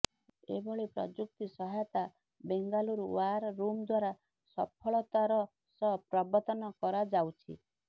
ଏଭଳି ପ୍ରଯୁକ୍ତି ସହାୟତା ବେଙ୍ଗାଲୁରୁ ୱାର୍ ରୁମ ଦ୍ୱାରା ସଫଳତାର ସହ ପ୍ରବର୍ତ୍ତନ କରାଯାଉଛି